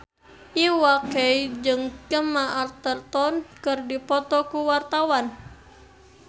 Iwa K jeung Gemma Arterton keur dipoto ku wartawan